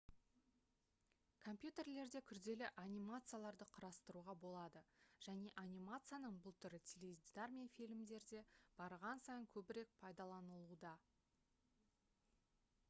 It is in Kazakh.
компьютерлерде күрделі анимацияларды құрастыруға болады және анимацияның бұл түрі теледидар мен фильмдерде барған сайын көбірек пайдаланылуда